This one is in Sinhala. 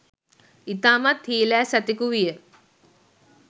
ඉතාමත් හීලෑ සතෙකු විය.